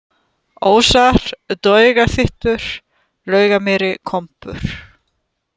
Ósar, Draugapyttur, Laugamýri, Kompur